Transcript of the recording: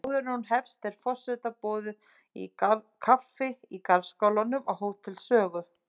Áður en hún hefst er forseta boðið kaffi í garðskálanum á Hótel Sögu.